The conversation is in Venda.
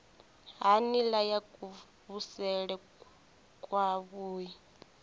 ha nila ya kuvhusele kwavhui